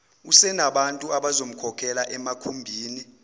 usenabantu abazomkhokhela emakhumbini